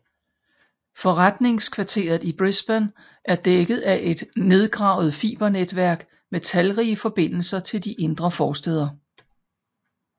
Forretningskvarteret i Brisbane er dækket af et nedgravet fibernetvæk med talrige forbindelser til de indre forstæder